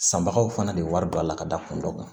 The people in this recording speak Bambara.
Sanbagaw fana de wari don a la ka da kun dɔ kan